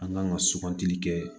An kan ka sugantili kɛ